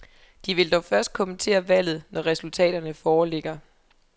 De vil dog først kommentere valget, når resultaterne foreligger.